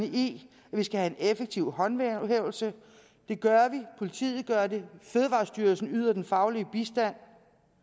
at vi skal have en effektiv håndhævelse det gør vi politiet gør det og fødevarestyrelsen yder den faglige bistand